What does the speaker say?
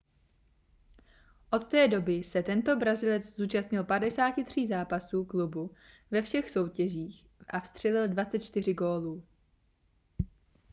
od té doby se tento brazilec zúčastnil 53 zápasů klubu ve všech soutěžích a vstřelil 24 gólů